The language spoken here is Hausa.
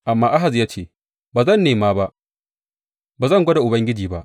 Amma Ahaz ya ce, Ba zan nema ba; ba zan gwada Ubangiji ba.